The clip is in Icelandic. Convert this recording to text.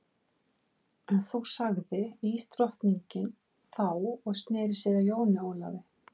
En þú sagði ísdrottningin þá og sneri sér að Jóni Ólafi.